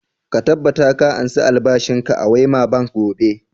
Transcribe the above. Ka tabbata ka ansa albashin ka a wema bank gobe!